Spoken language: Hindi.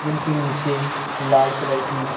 जिनके नीचे लाल कलर की--